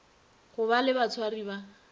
go ba le batshwari ba